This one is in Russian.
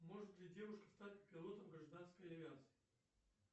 может ли девушка стать пилотом гражданской авиации